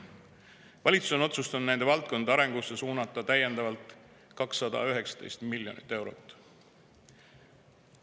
Valitsus on otsustanud nende valdkondade arengusse suunata täiendavalt 219 miljonit eurot.